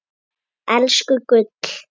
Elsku gull.